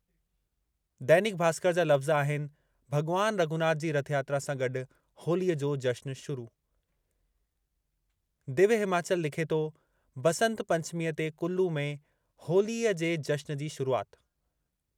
दैनिक भास्कर जा लफ़्ज़ आहिनि- भॻवान रघुनाथ जी रथयात्रा सां गॾु होलीअ जो जश्न शुरू। दिव्य हिमाचल लिखे थो-बंसत पंचमीअ ते कुल्लू में होलीअ जे जश्न जी शुरूआति।